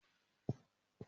Mo máa ra òwú.